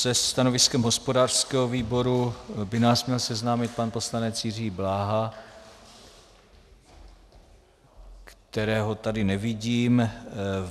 Se stanoviskem hospodářského výboru by nás měl seznámit pan poslanec Jiří Bláha, kterého tady nevidím.